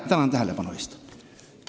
Tänan tähelepanu eest!